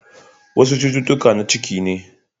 Wasu cututtuka na ciki ne.